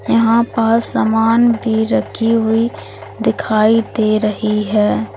यहां पर सामान भी रखी हुई दिखाई दे रही है।